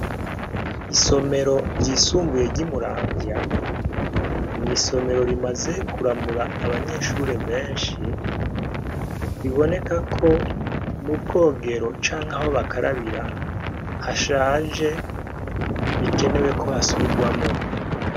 Isomero ry'isumbuye ry'Imuramvya, n'isomero rimaze kuramura abanyeshure benshi , biboneka ko mubwogero canke aho bakarabira hashaje bikenewe kohasubirwamwo .